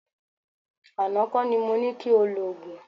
Àná kọ́ ni mo ní ki o lòògùn.